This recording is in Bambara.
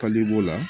Kaliko la